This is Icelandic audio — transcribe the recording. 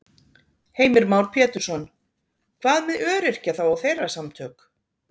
Heimir Már Pétursson: Hvað með öryrkja þá og þeirra samtök?